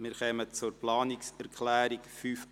Wir kommen zur Planungserklärung 5.a.